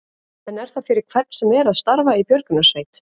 En er það fyrir hvern sem er að starfa í björgunarsveit?